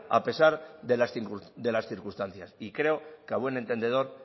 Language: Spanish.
a pesar de las circunstancias y creo que a buen entendedor